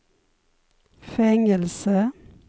fängelse